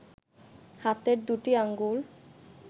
হাতের দুটি আঙুল